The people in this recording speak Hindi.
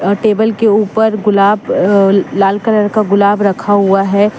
और टेबल के ऊपर गुलाब अ लाल कलर का गुलाब रखा हुआ है।